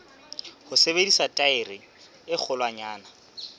ho sebedisa thaere e kgolwanyane